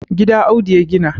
gida Audu ya gina